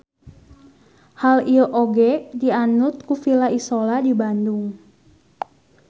Hal ieu oge dianut ku Villa Isola di Bandung.